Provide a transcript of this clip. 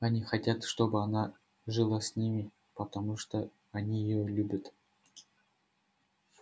они хотят чтобы она жила с ними потому что они её любят